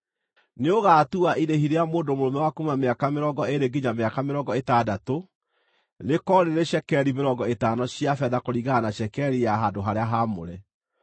nĩũgaatua irĩhi rĩa mũndũ mũrũme wa kuuma mĩaka mĩrongo ĩĩrĩ nginya mĩaka mĩrongo ĩtandatũ rĩkorwo rĩrĩ cekeri mĩrongo ĩtano cia betha, kũringana na cekeri ya handũ-harĩa-haamũre,